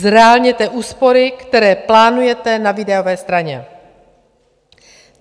Zreálněte úspory, které plánujete na výdajové straně!